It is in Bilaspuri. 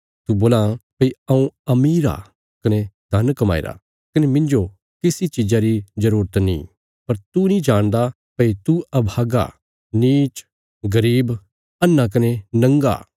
तू बोलां भई हऊँ अमीर आ कने धन कमाईरा कने मिन्जो किसी चीज़ा री जरूरत नीं पर तू नीं जाणदा भई तू अभागा नीच गरीब अन्हा कने नंगा